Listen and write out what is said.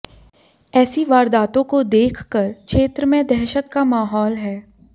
ऐसी वारदातों को देखकर क्षेत्र में दहशत का माहौल है